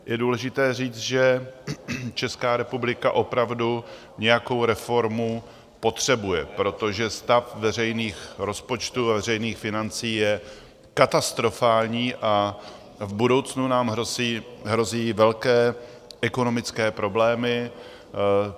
Je důležité říct, že Česká republika opravdu nějakou reformu potřebuje, protože stav veřejných rozpočtů a veřejných financí je katastrofální a v budoucnu nám hrozí velké ekonomické problémy.